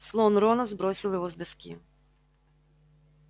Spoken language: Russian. слон рона сбросил его с доски